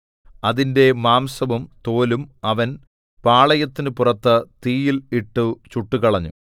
അതിന്റെ മാംസവും തോലും അവൻ പാളയത്തിനു പുറത്ത് തീയിൽ ഇട്ടു ചുട്ടുകളഞ്ഞു